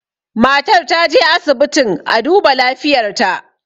matar ta je asibitin a duba lafiyarta